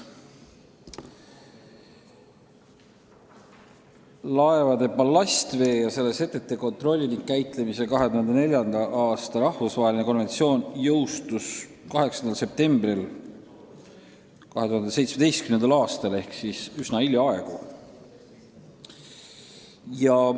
Laevade ballastvee ja selle setete kontrolli ning käitlemise 2004. aasta rahvusvaheline konventsioon jõustus 8. septembril 2017. aastal ehk üsna hiljaaegu.